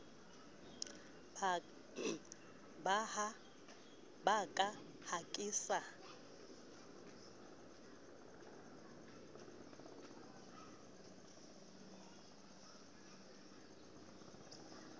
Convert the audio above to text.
ba ka ha ke sa